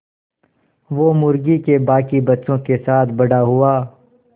वो मुर्गी के बांकी बच्चों के साथ बड़ा हुआ